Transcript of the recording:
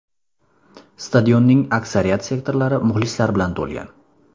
Stadionning aksariyat sektorlari muxlislar bilan to‘lgan.